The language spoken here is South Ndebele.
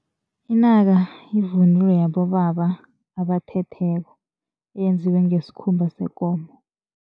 Inaka yivunulo yabobaba abathetheko. Eyenziwe ngesikhumba sekomo.